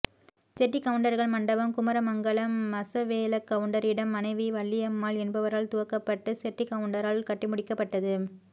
செட்டிக் கவுண்டர்கள் மண்டபம் குமரமங்கலம் மசவேலக்கவுண்டரின் மனைவி வள்ளியம்மாள் என்பவரால் துவக்கப்பட்டு செட்டிக்கவுண்டரால் கட்டி முடிக்கப்பட்டது